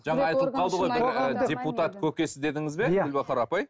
жаңа айтылып қалды ғой бір ы депутат көкесі дедіңіз бе гүлбахор апай